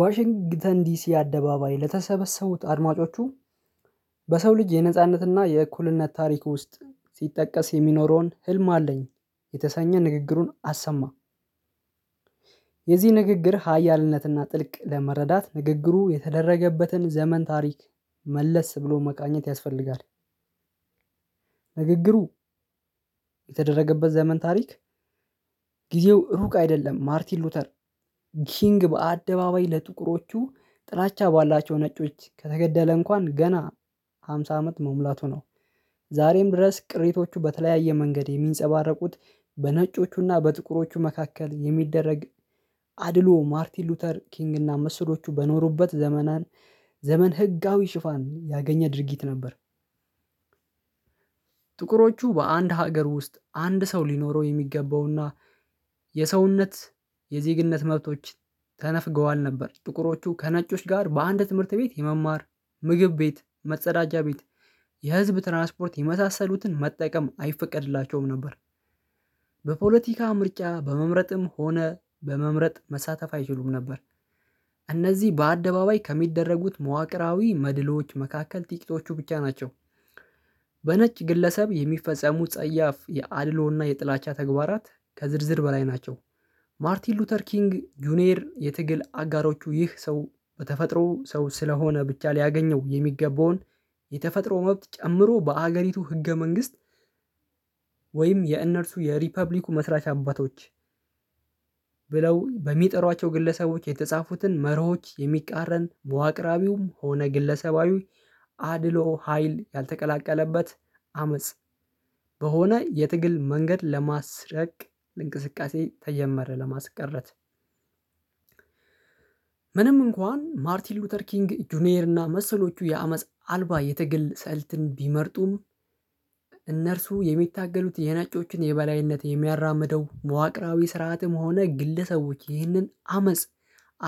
ዋሽንግተን ዲሲ አደባባይ ለተሰበሰቡት አድማጮቹ፤ በሰው ልጅ የነጻነትና የእኩልነት ታሪክ ውስጥ ሲጠቀስ የሚኖረውን ህልም አለኝ የተሰኘ ንግግሩን አሰማ። የዚህ ንግግር ሀያልነትና ጥልቅ ለመረዳት፤ ንግግሩ የተደረገበትን ዘመን ታሪክ መለስ ብሎ መቃኘት ያስፈልጋል። ንግግሩ የተደረገበት ዘመን ታሪክ፤ ጊዜው እሁቅ አይደለም ማርቲን ሉተር ኪንግ በአደባባይ ለጥቁሮቹ ጥላቻ ባላቸው ነጮች ከተገደለ እንኳን ገና ሃምሳ አመት መሙላቱ ነው። ዛሬም ድረስ ቅሪቶቹ በተለያየ መንገድ የሚንጸባረቁት በነጮቹና በጥቁሮቹ መካከል የሚደረግ አድሎ፤ ማርቲን ሉተር ኪንግ እና መስሎቹ በኖሩበት ዘመን ህጋዊ ሽፋን ያገኘ ድርጊት ነበር። ጥቁሮቹ በአንድ ሀገር ውስጥ አንድ ሰው ሊኖረው የሚገባውና የሰውነት፤ የዜግነት መብቶች ተነፍገዋል ነበር። ጥቁሮቹ ከነጮች ጋር በአንድ ትምህርት ቤት የመማር፤ ምግብ ቤት፤ መጸዳጃ ቤት፤ የህዝብ ትራንስፖርት፤ የመሳሰሉትን መጠየቅም አይፈቀድላቸውም ነበር። በፖለቲካ ምርጫ በመምረጥም ሆነ በመመረጥ መሳተፍ አይችሉም ነበር። እነዚህ በአደባባይ ከሚደረጉት መዋቅራዊ መድሎዎች መካከል ጥቂቶቹ ብቻ ናቸው። በነጭ ግለሰብ የሚፈጸሙት ጸያፍ የአድሎና የጥላቻ ተግባራት ከዝርዝር በላይ ናቸው። ማርቲን ሉተር ኪንግ ጁኒየር የትግል አጋሮቹ፤ ይህ ሰው በተፈጥሮ ሰው ስለሆነ ብቻ ሊያገኘው የሚገባውን የተፈጥሮ መብት ጨምሮ በሀገሪቱ ህገ መንግስት ወይም የእነርሱ የሪፐብሊኩ መስራች አባቶች ብለው በሚጠሯቸው ግለሰቦች የተጻፉትን መርሆች የሚቃረን መዋቅራቢውም ሆነ ግለሰባዊ አድሎ ሀይል ያልተቀላቀለበት አመጽ በሆነ የትግል መንገድ ለማስረቅ ለእንቅስቃሴ ተጀመረ ለማስቀረት። ምንም እንኳን ማርቲን ሉተር ኪንግ ጁኒየር እና መሰሎቹ የአመጽ አልባ የትግል ሰልትን ቢመርጡም እነርሱ የሚታገሉት የነጮችን የበላይነት የሚያራምደው መዋቅራዊ ስርዓትም ሆነ ግለሰቦች ይህንን አመጽ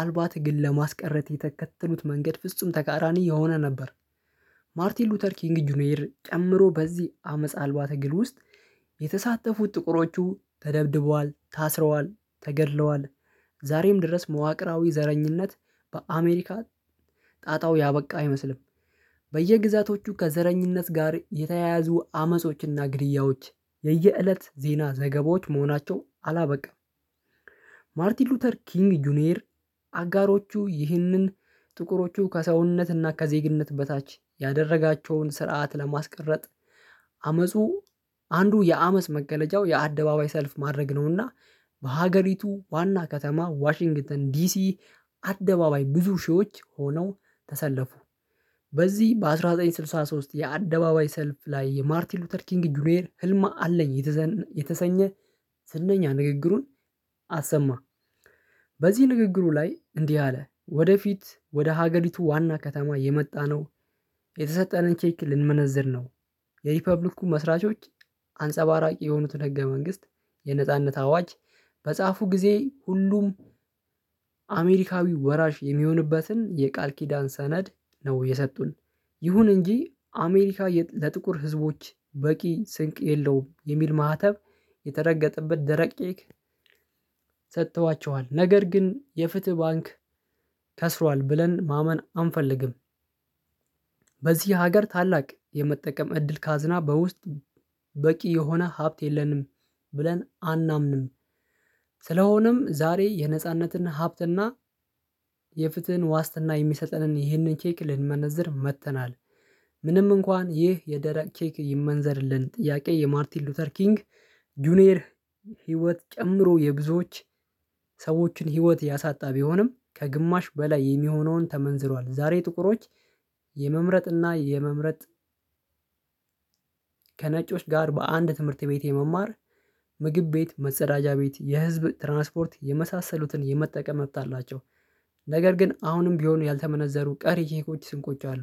አልባ ትግል ለማስቀረት የተከተሉት መንገድ ፍጹም ተቃራኒ የሆነ ነበር። ማርቲን ሉተር ኪንግ ጁኒየር ጨምሮ በዚህ አመጽ አልባ ትግል ውስጥ የተሳተፉት ጥቁሮቹ ተደብድቧል፤ ታስረዋል፤ ተገድለዋል፤ ዛሬም ድረስ መዋቅራዊ ዘረኝነት በአሜሪካ ጣጣው ያበቃ አይመስልም። በየግዛቶቹ ከዘረኝነት ጋር የተያያዙ አመጾችና ግድያዎች የየእለት ዜና ዘገባዎች መሆናቸው አላበቃም። ማርቲን ሉተር ኪንግ ጁኒየር አጋሮቹ ይህንን ጥቁሮቹ ከሰውነትና ከዜግነት በታች ያደረጋቸውን ስርዓት ለማስቀረት አመጹ አንዱ የአመጽ መገለጫው የአደባባይ ሰልፍ ማድረግ ነውና፤ በሀገሪቱ ዋና ከተማ ዋሽንግተን ዲሲ አደባባይ ብዙ ሺዎች ሆነው ተሰለፉ። በዚህ በአንድ ሺህ ዘጠኝ መቶ ስድሳ ሶስት የአደባባይ ሰልፍ ላይ የማርቲን ሉተር ኪንግ ጁኒየር ህልም አለኝ የተሰኘ ዝነኛ ንግግሩን አሰማ። በዚህ ንግግሩ ላይ እንዲህ አለ ወደፊት ወደ ሀገሪቱ ዋና ከተማ የመጣነው የተሰጠንን ቼክ ልንመነዝር ነው። የሪፐብሊኩ መስራቾች አንጸባራቂ የሆኑትን ህገ መንግስት የነጻነት አዋጅ በጻፉ ጊዜ ሁሉም አሜሪካዊ ወራሽ የሚሆንበትን የቃል ኪዳን ሰነድ ነው የሰጡን። ይሁን እንጂ አሜሪካ ለጥቁር ህዝቦች በቂ ስንቅ የለውም የሚል ማህተብ የተረገጠበት ደረቅ ኬክ ሰጥተዋቸዋል። ነገር ግን የፍትህ ባንክ ከስሯል ብለን ማመን አንፈልግም። በዚህ ሀገር ታላቅ የመጠቀም እድል ካዝና በውስጥ በቂ የሆነ ሀብት የለንም ብለን አናምንም። ስለሆነም ዛሬ የነጻነትን ሀብትና፤ የፍትህን ዋስትና የሚሰጥንን ይህንን ቼክ ልንመነዝር መጥተናል። ምንም እንኳን ይህ የደረቅ ቼክ ይመንዘርልን ጥያቄ የማርቲን ሉተር ኪንግ ጁኒየር ህይወት ጨምሮ የብዙዎች ሰዎችን ህይወት ያሳጣ ቢሆንም፤ ከግማሽ በላይ የሚሆነውን ተመንዝሯል ዛሬ ጥቁሮች የመምረጥና የመመረጥ ከነጮች ጋር በአንድ ትምህርት ቤት የመማር፤ ምግብ ቤት፤ መጸዳጃ ቤት፤ የህዝብ ትራንስፖርት የመሳሰሉትን የመጠቀም መብት አላቸው። ነገር ግን አሁንም ቢሆን ያልተመነዘሩ ቀሪ ቼኮች ስንቆች አሉ።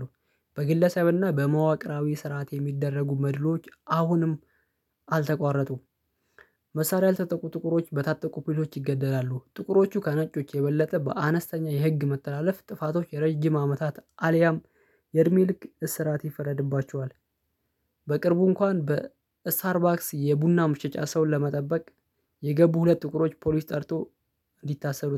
በግለሰብና በመዋቅራዊ ስርዓት የሚደረጉ መድሎች አሁንም አልተቋረጡም። መሳሪያ ያልታጠቁ ጥቁሮች በታጠቁ ፓሊሶች ይገደላሉ። ጥቁሮቹ ከነጮች የበለጠ በአነስተኛ የህግ መተላለፍ ጥፋቶች የረጅም አመታት አልያም የእድሜ ልክ እስራት ይፈረድባቸዋል። በቅርቡ እንኳን በስታርባክስ የቡና መሽጫ ሰውን ለመጠበቅ የገቡ ሁለት ጥቁሮች ፖሊስ ጠርቶ እንዲታሰሩ